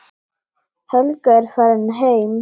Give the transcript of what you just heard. Helga er farin heim.